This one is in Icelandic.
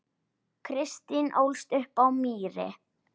Kristín ólst upp á Mýri.